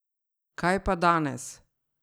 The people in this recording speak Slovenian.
Kaj pa danes?